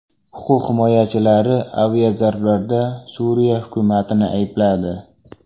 Huquq himoyachilari aviazarbalarda Suriya hukumatini aybladi.